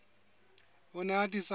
o ne a atisa ho